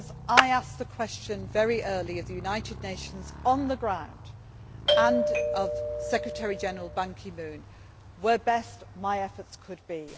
I put the question very early to the United Nations on the ground, and to Secretary General Ban Ki moon, where best my efforts could be.